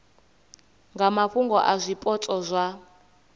nga mafhungo a zwipotso zwa